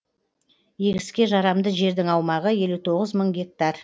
егіске жарамды жердің аумағы елу тоғыз мың гектар